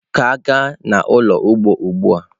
ka gaa n'ulo ugbo ugbua!